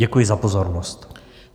Děkuji za pozornost.